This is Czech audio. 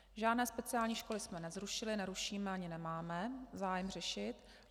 Žádné speciální školy jsme nezrušili, nerušíme ani nemáme zájem řešit.